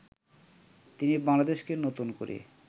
তিনি বাংলাদেশকে নতুন করে